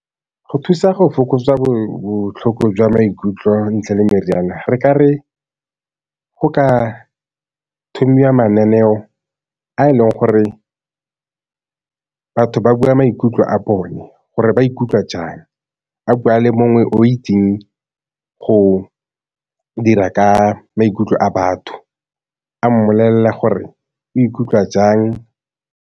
Go thusa go fokotsa botlhoko jwa maikutlo ntle le meriana, re ka re go ka thomiwa mananeo a e leng gore batho ba bua maikutlo a bone, gore ba ikutlwa jang. Ba bua le mongwe o ko teng go dira ka maikutlo a batho a mmolelela gore o ikutlwa jang.